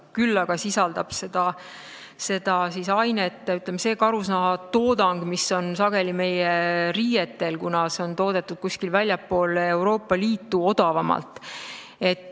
Küll aga sisaldab seda ainet, ütleme, see karusnahatoodang, mida sageli kasutatakse meie riietes, kuna see on toodetud odavalt kuskil väljaspool Euroopa Liitu.